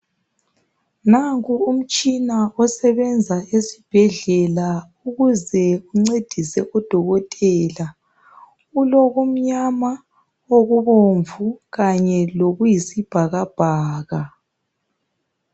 Nanku umtshina osebenza esibhedlela ukuze uncedise odokotela ulokumnyama, okubomvu kanye lokuyisibhakabhaka.